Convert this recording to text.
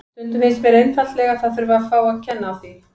Stundum finnst mér einfaldlega að það þurfi að fá að kenna á því.